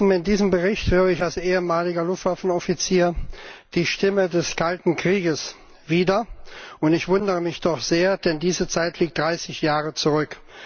In diesem Bericht höre ich als ehemaliger Luftwaffenoffizier die Stimme des Kalten Krieges wieder, und ich wundere mich doch sehr, denn diese Zeit liegt dreißig Jahre zurück.